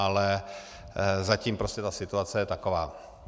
Ale zatím prostě ta situace je taková.